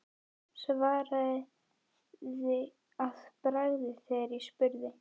Svaraði að bragði þegar ég spurði.